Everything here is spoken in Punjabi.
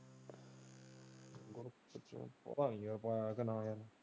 ਪਤਾ ਨੀ ਯਾਰ ਪਾਇਆ ਕ ਨਹੀਂ।